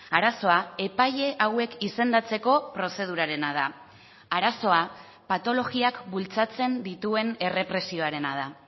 arazoa epaile hauek izendatzeko prozedurarena da arazoa patologiak bultzatzen dituen errepresioarena da